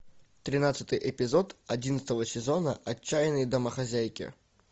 тринадцатый эпизод одиннадцатого сезона отчаянные домохозяйки